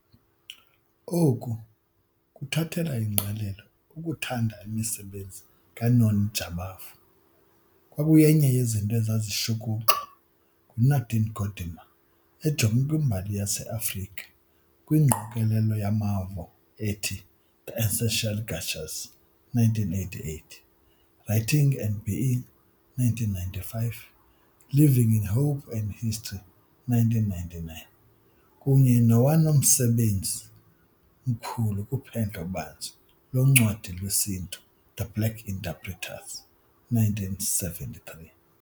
Oku kuthathela ingqalelo ukuthanda imisebenzi kaNoni Jabavu kwakuyenye yezinto ezazishukuxwa nguNadine Gordimer ejonge kwimbali yeAfrika kwingqokelela yamavo ethi The Essential Gesture 1988, Writing and Being 1995, Living in Hope and History, 1999, kunye nowonamsebenzi mkhulu kuphendlo-banzi loncwadi lwesiNtu, The Black Interpreters, 1973.